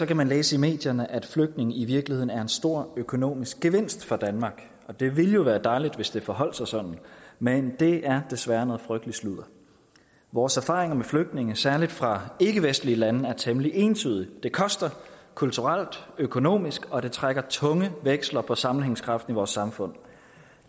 kan man læse i medierne at flygtninge i virkeligheden er en stor økonomisk gevinst for danmark det ville jo være dejligt hvis det forholdt sig sådan men det er desværre noget frygteligt sludder vores erfaringer med flygtninge særlig fra ikkevestlige lande er temmelig entydig det koster kulturelt og økonomisk og det trækker tunge veksler på sammenhængskraften i vores samfund